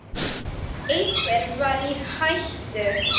Einhver var í hættu.